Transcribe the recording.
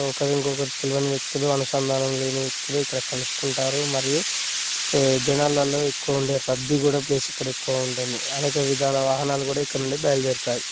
ఒకరికి ఒకరు తెల్వని వ్యక్తులు అనుసందానం లేని వ్యక్తులు ఇక్కడ కలుసుకుంటారు మరియు జనాలల్లో ఎ క్కువ ఉండే రద్దీ కూడా ప్లేస్ ఇక్కడ ఎ క్కువగా ఉంటుంది అలాగే ఇతర వాహనాలు కూడా ఇక్కడి నుండి బయలుదేరుతాయి